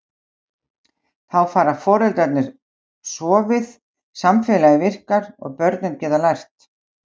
Þá fá foreldrarnir sofið, samfélagið virkar og börnin geta lært.